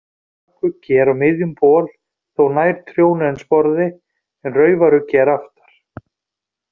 Bakuggi er á miðum bol, þó nær trjónu en sporði, en raufaruggi er aftar.